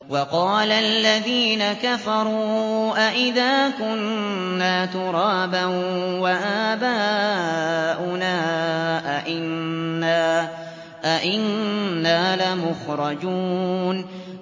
وَقَالَ الَّذِينَ كَفَرُوا أَإِذَا كُنَّا تُرَابًا وَآبَاؤُنَا أَئِنَّا لَمُخْرَجُونَ